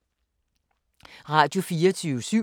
Radio24syv